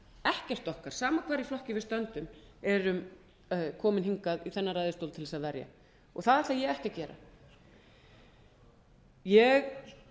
ekkert okkar sama hvar í flokki við stöndum erum komin hingað í þennan ræðustól til þess að verja það ætla ég ekki að gera ég